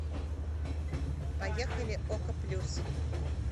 поехали око плюс